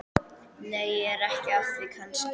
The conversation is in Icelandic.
Nei, ég er ekki að því kannski.